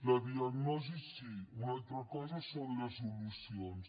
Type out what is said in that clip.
la diagnosi sí una altra cosa són les solucions